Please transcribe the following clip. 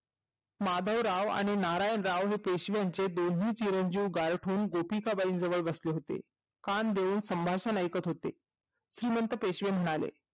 माधव राव आणि नारायण राव हे पेशवाचे दोन्ही चिरंजीव गायप होऊन गोपिका बाईच्या जवळ जाऊन बसले होते कान देऊन संभाषण ऐकत होते श्रीमत पेशवे म्हणाले